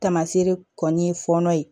Tamasere kɔni ye fɔlɔ ye